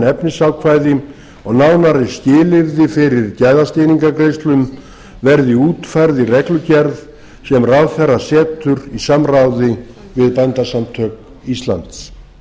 efnisákvæði og nánari skilyrði fyrir gæðastýringargreiðslum verði útfærð í reglugerð sem ráðherra setur í samráði við bændasamtök íslands